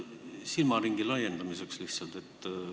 Küsin lihtsalt silmaringi laiendamiseks.